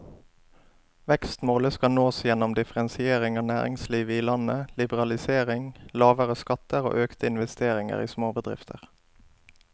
Vekstmålet skal nås gjennom differensiering av næringslivet i landet, liberalisering, lavere skatter og økte investeringer i småbedrifter.